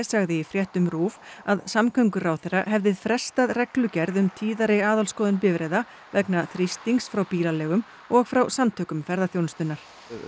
sagði í fréttum RÚV að samgönguráðherra hefði frestað reglugerð um tíðari aðalskoðun bifreiða vegna þrýstings frá bílaleigum og frá Samtökum ferðaþjónustunnar